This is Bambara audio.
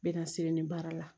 N bɛ na siri ni baara la